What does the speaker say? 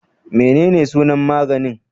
Menene sunan maganin?